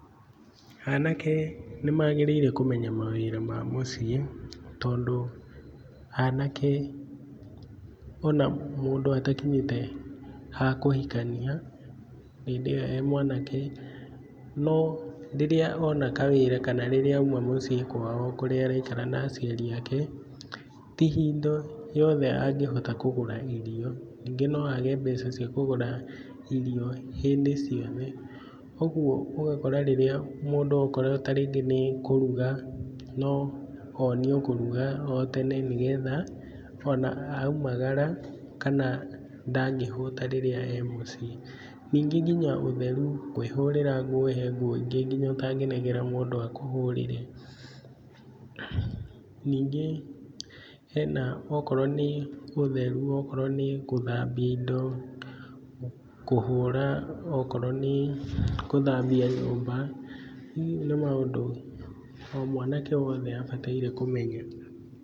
Anake nĩmagĩrĩirwo kũmenya mawĩra ma mũciĩ tondũ anake ona mũndũ atakinyĩte ha kũhikania, hĩndĩ ĩyo e mwanake no rĩrĩa ona kawĩra kana rĩrĩa oima mũciĩ kwao kũrĩa araikara na aciari ake, ti hindo yothe angĩhota kũgũraga irio ningĩ noage mbeca cia kũgũra irio hĩndĩ ciothe, ũguo ũgakora rĩrĩa mũndũ akorwo ta rĩngĩ nĩ kũruga no onio kũruga o tene nĩgetha ona aumagara kana ndangĩhũta rĩrĩa e mũciĩ, ningĩ nginya ũtheru kwĩhũrĩra nguo he nguo ingĩ nginya ũtangĩnengera mũndũ akũhũrĩre, ningĩ hena okorwo nĩ ũtheru akorwo nĩ gũthambia indo, kũhũra okorwo nĩ gũthambia nyũmba, nĩ maũndũ o mwanake wothe abataire nĩ kũmenya.